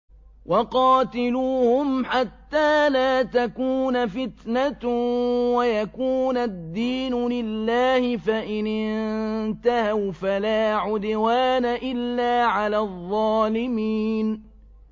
وَقَاتِلُوهُمْ حَتَّىٰ لَا تَكُونَ فِتْنَةٌ وَيَكُونَ الدِّينُ لِلَّهِ ۖ فَإِنِ انتَهَوْا فَلَا عُدْوَانَ إِلَّا عَلَى الظَّالِمِينَ